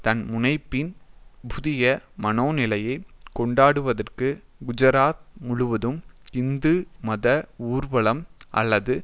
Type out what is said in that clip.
தன்முனைப்பின் புதிய மனோநிலையை கொண்டாடுவதற்கு குஜராத் முழுவதும் இந்து மத ஊர்வலம் அல்லது